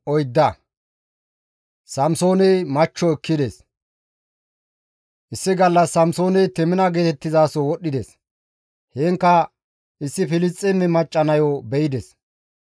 Issi gallas Samsooney Temina geetettizaso wodhdhides; heenkka issi Filisxeeme macca nayo be7ides.